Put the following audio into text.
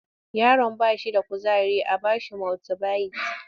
Yaron ba shi da kuzari a ba shi multibayit